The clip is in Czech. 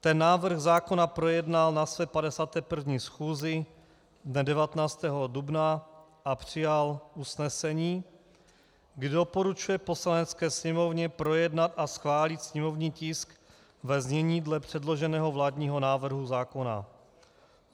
Ten návrh zákona projednal na své 51. schůzi dne 19. dubna a přijal usnesení, kdy doporučuje Poslanecké sněmovně projednat a schválit sněmovní tisk ve znění dle předloženého vládního návrhu zákona;